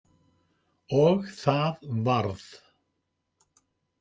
Og það varð.